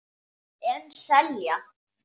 En selja.